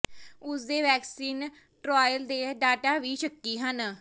ਉਸ ਦੇ vaccine trial ਦੇ ਡਾਟਾ ਵੀ ਸ਼ੱਕੀ ਹਨ